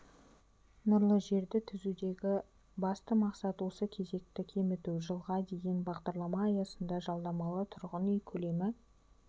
нұрлы жерді түзудегі басты мақсат осы кезекті кеміту жылға дейін бағдарлама аясында жалдамалы тұрғын үй көлемі